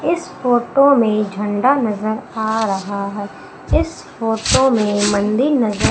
इस फोटो मैं झंडा नजर आ रहा हैं इस फोटो में मंडी नजर--